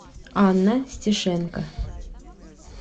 анна стешенко